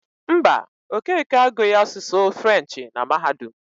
Mba, Okeke agụghị asụsụ Frenchị na mahadum.